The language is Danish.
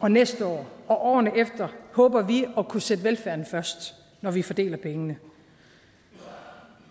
og næste år og årene efter håber vi at kunne sætte velfærden først når vi fordeler pengene